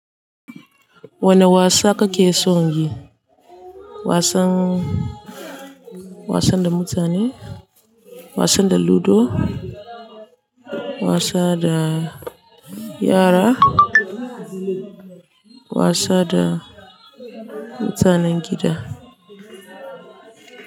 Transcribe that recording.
Wane wasa kake son yi? Wasan, wasan da mutane, wasan da ludo, wasa da yara, wasa da mutanen gida?